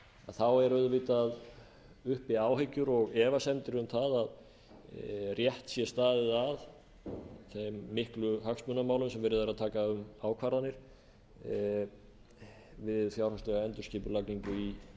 þá eru auðvitað uppi áhyggjur og efasemdir um það að rétt sé staðið að þeim miklu hagsmunamálum sem verið er að taka um ákvarðanir við fjárhagslega endurskipulagningu í